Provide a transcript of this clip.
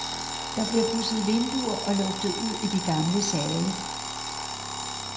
Der bliver pudset vinduer og luftet ud i de gamle sale.